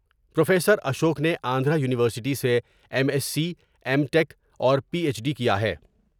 Professor Ashok نے Andhra university سے M S C, M tech اور پی ایچ ڈی کیا ہے ۔